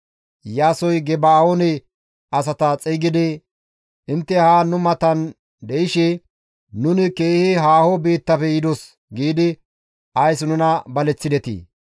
Iyaasoy Geba7oone asata xeygidi, «Intte haan nu matan de7ishe, ‹Nuni keehi haaho biittafe yidos› giidi ays nuna baleththidetii?